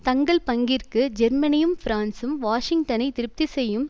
தங்கள் பங்கிற்கு ஜெர்மனியும் பிரான்சும் வாஷிங்டனை திருப்தி செய்யும்